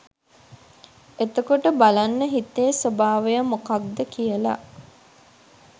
එතකොට බලන්න හිතේ ස්වභාවය මොකක්ද කියල.